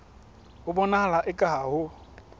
ho bonahala eka ha ho